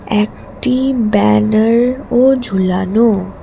একটি ব্যানারও ঝুলানোএকটি ব্যানারও ঝুলানো।